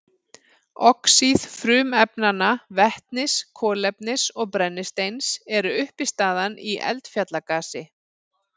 Oxíð frumefnanna vetnis, kolefnis og brennisteins eru uppistaðan í eldfjallagasi.